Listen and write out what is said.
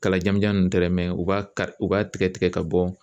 Kala janmanjan ninnu tɛ dɛ u b'a kari u b'a tigɛ tigɛ ka bɔ